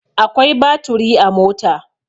Akwai baturi a mota.